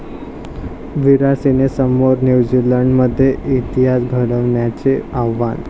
विराट'सेनेसमोर न्यूझीलंडमध्ये इतिहास घडवण्याचे आव्हान